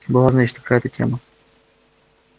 была значит какая-то тема